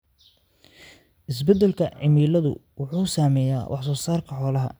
Isbeddelka cimiladu wuxuu saameeyaa wax soo saarka xoolaha.